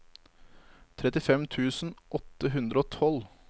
trettifem tusen åtte hundre og tolv